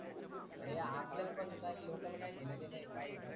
आरे आपल्याला पसंद आली लोकांना की घेण देन आहे पाहायच.